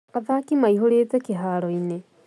Athaki maihũrĩte kĩharoinĩ